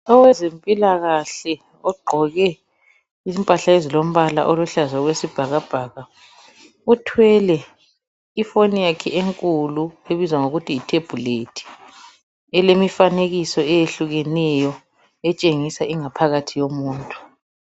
owezempilakahle ogqoke impahla ezilombala eziluhlaza okwesibhakabhaka uthwele ifoni yakhe enkulu ebizwa kuthiwa yithebhulethi elemifanekiso eyehlukeneyo etshingisa ingaphakathi yomuntu.